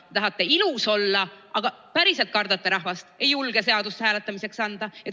Te tahate ilus olla, aga päriselt kardate rahvast, ei julge seaduseelnõu hääletamisele panna.